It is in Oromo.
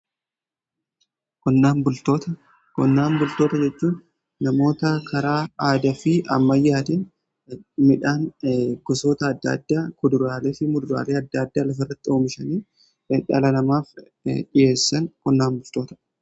qonnaan bultoota, qonnaan bultoota jechuun namoota karaa aada fi ammayyaatiin midhaan gosoota adda addaa kuduraaleefi muduraalee adda addaa lafa irratti oomishanii dhala namaaf dhi'eessan qonnaan bultoota.